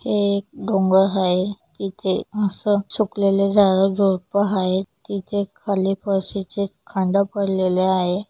हे डोंगर हाये तिथे मस्त सुकलेले झाड-झुडपं हायेत तिथे खाली फरशीचे खांड पडलेले आहे.